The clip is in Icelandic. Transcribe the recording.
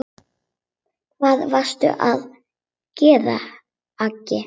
Hvað varstu að gera, Aggi.